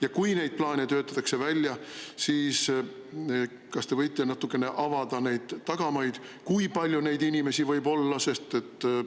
Ja kui neid plaane töötatakse välja, siis kas te võite natukene avada neid tagamaid, kui palju neid inimesi võib olla?